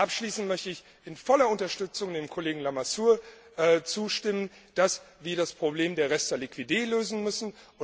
Abschließend möchte ich in voller Unterstützung dem Kollegen Lamassoure zustimmen, dass wir das Problem der reste liquider lösen müssen.